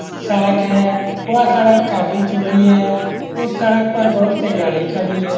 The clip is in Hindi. सड़क है वह सड़क काफी चौड़ी है उस सड़क पर बहुत से गाड़ी खड़ी है।